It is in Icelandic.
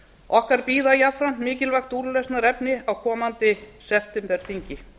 okkar bíða jafnframt mikilvæg úrlausnarefni á komandi septemberþingi